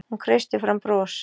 Hún kreistir fram bros.